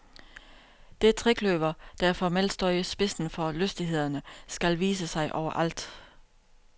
Det trekløver, der formelt står i spidsen for lystighederne, skal vise sig overalt.